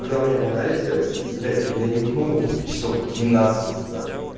когда у меня в анализе блять ну я нюхнул часов двенадцать назад